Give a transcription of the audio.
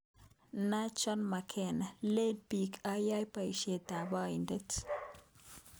Najma Makena: Leen biik ayae boisyetab aindet